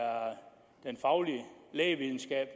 den faglige lægevidenskab